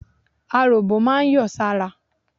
Aròbó máa ń yọ̀ sára.